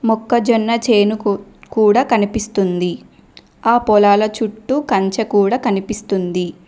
మొక్కజొన్న చేను కు కూడా కనిపిస్తుంది ఆ పొలాల చుట్టూ కంచె కూడా కనిపిస్తుంది.